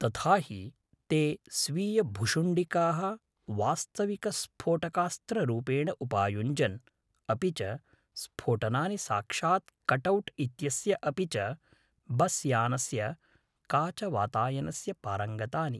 तथा हि, ते स्वीयभुशुण्डिकाः वास्तविकस्फोटकास्त्ररूपेण उपायुञ्जन्, अपि च स्फोटनानि साक्षात् कटौट् इत्यस्य अपि च बस्यानस्य काचवातायनस्य पारङ्गतानि।